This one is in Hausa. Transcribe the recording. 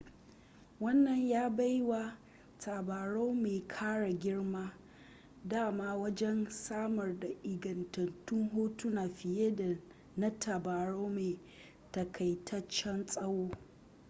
wannan ya bai wa tabarau mai kara girma dama wajen samar da ingantattun hotuna fiye da na tabarau mai takaitaccen tsawo